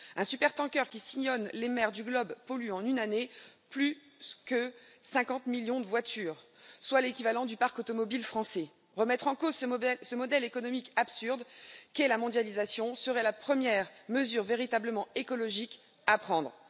Un supertanker qui sillonne les mers du globe pollue en une année plus que 50 millions de voitures, soit l'équivalent du parc automobile français. Remettre en cause ce modèle économique absurde qu'est la mondialisation serait la première mesure véritablement écologique à prendre.